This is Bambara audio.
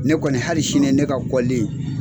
Ne kɔni hali sini ne ka .